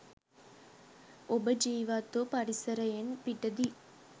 ඔබ ජීවත්වූ පරිසරයෙන් පිටදී